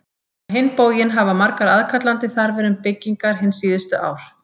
Á hinn bóginn hafa verið margar aðkallandi þarfir um byggingar hin síðustu ár.